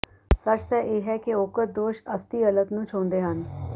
ਸੱਚ ਤਾਂ ਇਹ ਹੈ ਕਿ ਉਕਤ ਦੋਸ਼ ਅਸਤੀਅਲਤ ਨੂੰ ਛੋਹੰਦੇ ਹਨ